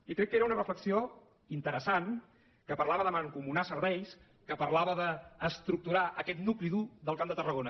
i crec que era una reflexió interessant que parlava de mancomunar serveis que parlava d’estructurar aquest nucli dur del camp de tarragona